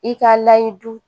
I k'a layɛ du